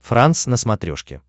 франс на смотрешке